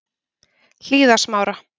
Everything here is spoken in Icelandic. Hlíðasmára